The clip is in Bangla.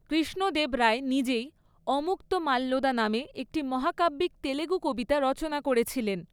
কৃষ্ণ দেব রায় নিজেই অমুক্তমাল্যদা নামে একটি মহাকাব্যিক তেলুগু কবিতা রচনা করেছিলেন।